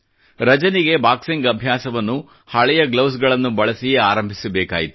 ರಜನಿಗೆ boxing ಅಭ್ಯಾಸವನ್ನು ಹಳೆಯ ಗ್ಲೌಸ್ಗ್ಳನ್ನು ಬಳಸಿಯೇ ಆರಂಭಿಸಬೇಕಾಯಿತು